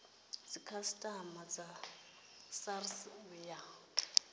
dzikhasiama dza srsa u ya